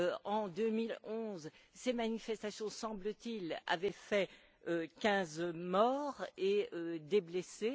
En 2011, ces manifestations, semble t il, avaient fait 15 morts et des blessés.